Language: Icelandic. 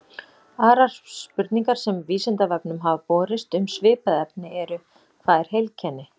Aðrar spurningar sem Vísindavefnum hafa borist um svipað efni eru: Hvað er heilkenni?